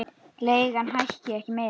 Leigan hækki ekki meira.